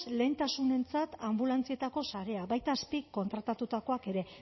lehentasunentzat anbulantzietako sarea baita azpikontratatutakoak ere